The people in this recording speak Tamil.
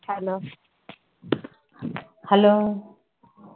hello hello